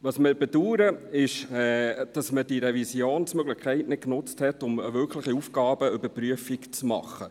Was wir bedauern, ist, dass man diese Revisionsmöglichkeit nicht genutzt hat, um eine wirkliche Aufgabenüberprüfung zu machen.